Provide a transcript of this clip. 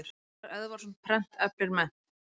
Ingi Rúnar Eðvarðsson, Prent eflir mennt.